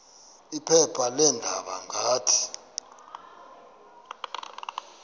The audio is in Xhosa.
phepha leendaba ngathi